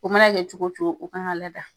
O mana kɛ cogo cogo o kan ka lada.